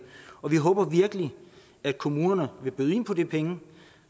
vi håber virkelig at kommunerne vil byde ind på de penge